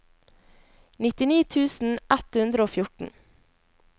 nittini tusen ett hundre og fjorten